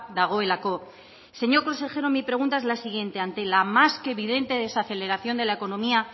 dagoelako señor consejera mi pregunta es la siguiente ante la más que evidente desaceleración de la economía